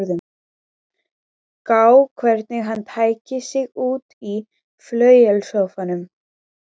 Gá hvernig hann tæki sig út í flauelssófanum.